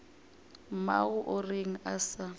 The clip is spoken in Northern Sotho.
mmago o reng a sa